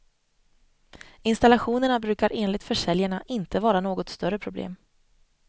Installationerna brukar enligt försäljarna inte vara något större problem.